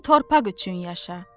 bu torpaq üçün yaşa.